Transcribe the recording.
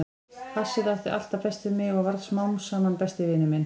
Hassið átti alltaf best við mig og varð smám saman besti vinur minn.